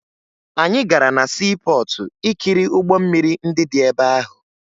Anyị gara na siipọọtụ ikiri ụgbọ mmiri ndị dị ebe ahụ